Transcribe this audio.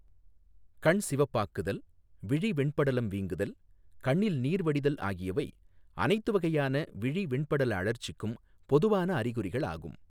கண் சிவப்பாக்குதல், விழி வெண்படலம் வீங்குதல், கண்ணில் நீர் வடிதல் ஆகியவை அனைத்து வகையான விழி வெண்படல அழற்சிக்கும் பொதுவான அறிகுறிகளாகும்.